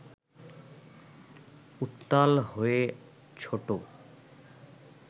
উত্তাল হয়ে ছোটো